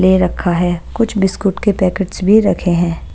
ले रखा है। कुछ बिस्कुट के पैकेट्स भी रखे हैं।